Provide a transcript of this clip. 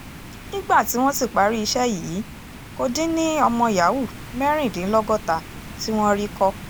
nígbà tí wọ́n sì parí iṣẹ́ yìí kò dín ní ọmọ yahoo mẹ́rìndínlọ́gọ́ta tí wọ́n rí kọ́